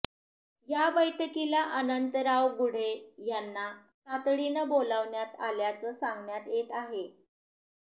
या बैठकीला अनंतराव गुढे यांना तातडीनं बोलवण्यात आल्याचं सांगण्यात येत आहे